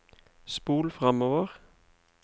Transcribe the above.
spol framover